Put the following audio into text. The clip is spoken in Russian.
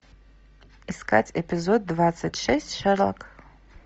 искать эпизод двадцать шесть шерлок